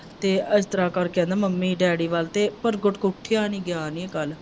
ਅਤੇ ਇਸ ਤਰ੍ਹਾਂ ਕਰਕੇ ਕਹਿੰਦਾ ਮੰਮੀ ਡੈਡੀ ਵੱਲ ਤੇ ਪਰਗਟ ਤੋਂ ਉੱਠਿਆ ਨਹੀਂ ਗਿਆ ਨਹੀਂ ਕੱਲ੍ਹ,